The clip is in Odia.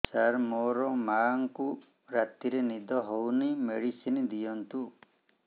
ସାର ମୋର ମାଆଙ୍କୁ ରାତିରେ ନିଦ ହଉନି ମେଡିସିନ ଦିଅନ୍ତୁ